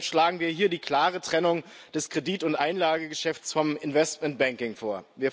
Deshalb schlagen wir hier die klare Trennung des Kredit und Einlagengeschäfts vom Investmentbanking vor.